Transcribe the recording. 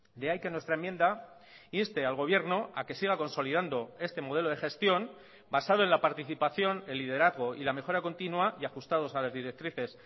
de ahí que nuestra enmienda inste al gobierno a que siga consolidando este modelo de gestión basado en la participación el liderazgo y la mejora continua y ajustados a las directrices